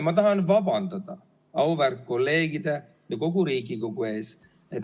Ma tahan vabandada auväärt kolleegide ja kogu Riigikogu ees.